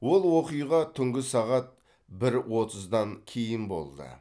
ол оқиға түнгі сағат бір отыздан кейін болды